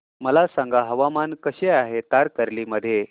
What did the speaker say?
मला सांगा हवामान कसे आहे तारकर्ली मध्ये